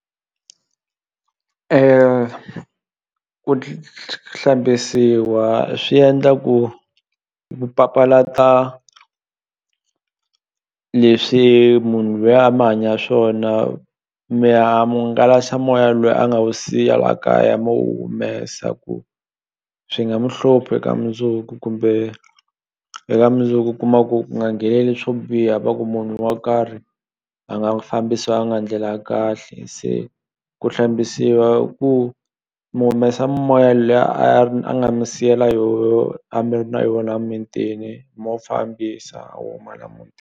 Ku hlambisiwa swi endla ku ku papalata leswi munhu luya a mi hanya swona mi hangalasa moya lwiya a nga wu siya la kaya mu wu humesa ku swi nga mu hluphi eka mundzuku kumbe eka mundzuku u kuma ku nga ngheneleli swo biha va ku munhu wa karhi a nga fambisanga ndlela ya kahle se ku hlambisiwa ku mi humesa mimoya liya a nga mi siyela yoho a mi ri na yona mintini mu wu fambisa wu huma la mutini.